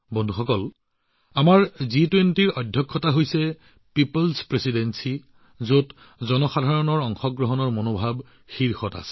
বন্ধুসকল জি২০ৰ আমাৰ অধ্যক্ষতা হৈছে জনসাধাৰণৰ অধ্যক্ষতা যত জনসাধাৰণৰ অংশগ্ৰহণৰ মনোভাৱ অগ্ৰণী